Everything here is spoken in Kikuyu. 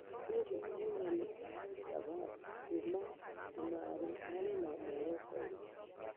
Hihi ahũrani a al-shabab kuma cũmari marĩ na mũoroto ũrĩkũ?